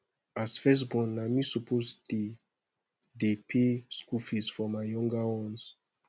as first born na me suppose dey dey pay school fees for my younger ones